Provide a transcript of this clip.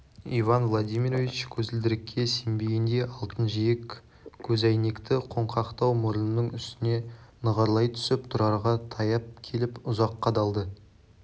иван владимирович көзілдірікке сенбегендей алтын жиек көзәйнекті қоңқақтау мұрынының үстіне нығарлай түсіп тұрарға таяп келіп ұзақ қадалды